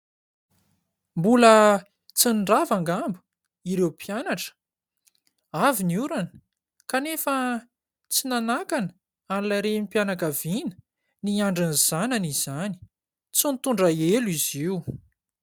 Mbola tsy nirava angamba ireo mpianatra. Avy ny orana kanefa tsy nanakana an'ilay renim-pianakaviana niandry ny zanany izany. Tsy nitondra elo izy io.